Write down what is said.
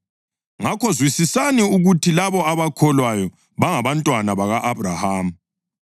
Ngakho zwisisani ukuthi labo abakholwayo bangabantwana baka-Abhrahama.